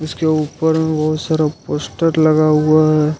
उसके ऊपर में बहुत सारा पोस्टर लगा हुआ है।